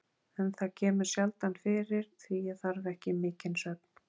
En það kemur sjaldan fyrir, því ég þarf ekki mikinn svefn.